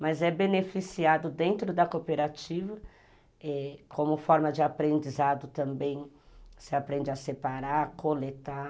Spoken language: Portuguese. Mas é beneficiado dentro da cooperativa, como forma de aprendizado também, você aprende a separar, coletar.